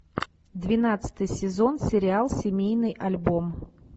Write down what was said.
двенадцатый сезон сериал семейный альбом